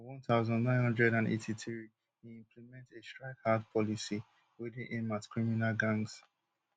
for one thousand, nine hundred and eighty-three e implement a strike hard policy wey dey aim at criminal gangs